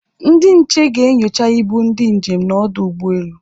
Ndị nche ga-enyocha ibu ndị njem n'ọdụ ụgbọelu